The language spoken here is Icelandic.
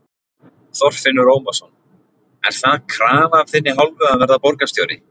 Þorfinnur Ómarsson: Er það krafa af þinni hálfu að verða borgarstjóri?